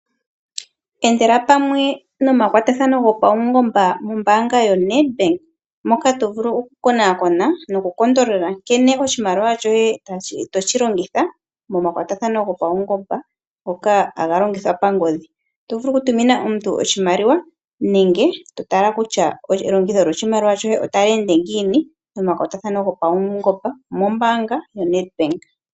Endela pamwe nomakwathano gopaungomba mombanga yoNedBank, moka to vulu okukonakona nokukondolola nkene oshimaliwa shoye toshi longitha momakwatathano gopaungomba ngoka haga longithwa pangodhi. Oto vulu okutumina omuntu oshimaliwa nenge to tala kutya elongitho lyo shimaliwa shoye otali ende ngiini, nomakwatathano gopaungomba moombanga yoNedBank.